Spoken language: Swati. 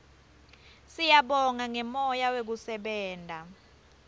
siyabonga ngemoya wekusebenta